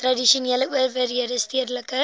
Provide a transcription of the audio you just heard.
tradisionele owerhede stedelike